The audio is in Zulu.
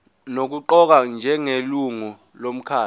nokuqokwa njengelungu lomkhandlu